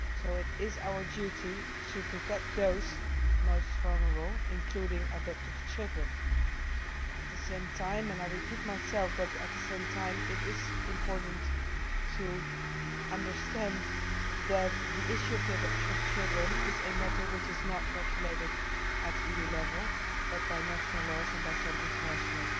It is our duty to protect those most vulnerable, including adopted children. At the same time and I repeat it is important to understand that the issue of the adoption of children is a matter which is not regulated at EU level but by national laws and by some international